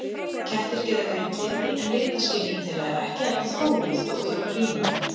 Kettir geta greint liti en litaskynjun þeirra er ekki jafn þróuð og hjá prímötum.